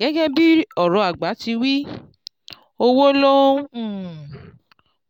gẹ́gẹ́ bí ọ̀rọ̀ àgbà ti wí “"owó ló ń um